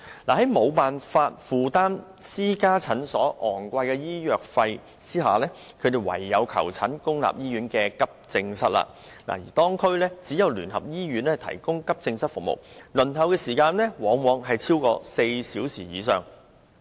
在無法負擔私家診所高昂收費的情況下，他們唯有前往公立醫院的急症室求診，但該兩區只得聯合醫院提供急症室服務，而輪候時間往往超出4小時。